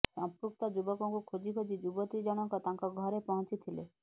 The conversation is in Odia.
ସଂପୃକ୍ତ ଯୁବକଙ୍କୁ ଖୋଜି ଖୋଜି ଯୁବତୀ ଜଣଙ୍କ ତାଙ୍କ ଘରେ ପହଞ୍ଚିଥିଲେ